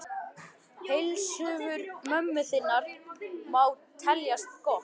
Heilsufar mömmu þinnar má teljast gott.